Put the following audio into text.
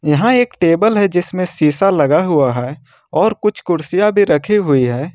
यहां एक टेबल है जिसमें शीशा लगा हुआ है और कुछ कुर्सियां भी रख हुई है।